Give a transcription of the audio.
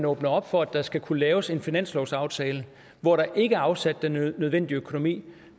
åbner op for at der skal kunne laves en finanslovsaftale hvor der ikke afsat den nødvendige økonomi